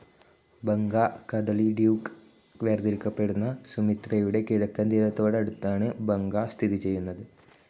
ബംഗാ കദളിഡ്യൂക്ക് വേർതിരിക്കപ്പെടുന്ന സുമിത്രയുടെ കിഴക്കൻ തീരത്തോട് അടുത്താണ് ബംഗാ സ്ഥിതിചെയ്‌തുന്നത്.